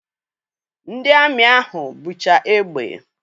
Ndị amị ahụ bucha egbe.